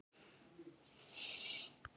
En stenst það skoðun?